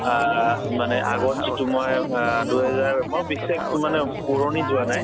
আহ মানে আগত যিটো মই আহ দুই হেজাৰ মই বিশেষ মানে সুৱৰণি যোৱা নাই